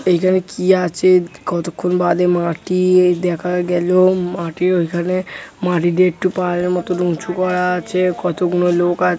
এইখানে কি আছে উদ কতক্ষণ বাদে মাটি এই দেখা গেল মাটির ওইখানে মাটি দিয়ে একটু পাহাড়ের মতন উঁচু করা আছে কতগুনো লোক আ--